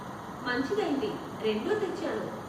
మంచిదైంది, రెండూ తెచ్చాను.